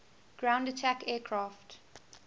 ground attack aircraft